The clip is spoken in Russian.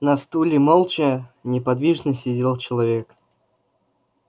на стуле молча неподвижно сидел человек